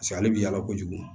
ale bi yala kojugu